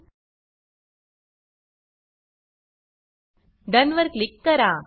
डोन done वर click करा